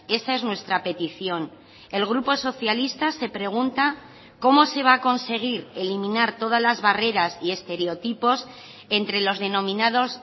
esa es nuestra petición el grupo socialista se pregunta cómo se va a conseguir eliminar todas las barreras y estereotipos entre los denominados